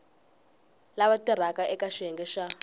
lava tirhaka eka xiyenge xa